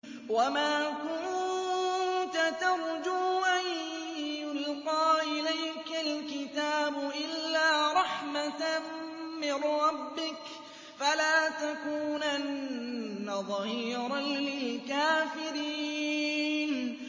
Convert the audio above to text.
وَمَا كُنتَ تَرْجُو أَن يُلْقَىٰ إِلَيْكَ الْكِتَابُ إِلَّا رَحْمَةً مِّن رَّبِّكَ ۖ فَلَا تَكُونَنَّ ظَهِيرًا لِّلْكَافِرِينَ